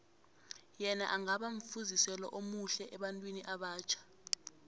yena angaba mfuziselo omuhle ebantwini abatjha